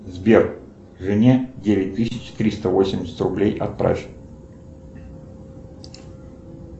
сбер жене девять тысяч триста восемьдесят рублей отправь